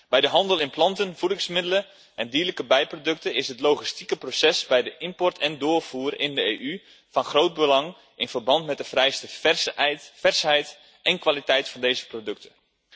Bij de handel in planten, voedingsmiddelen en dierlijke bijproducten is het logistieke proces bij de invoer en doorvoer in de EU van groot belang in verband met de vereiste versheid en kwaliteit van deze producten.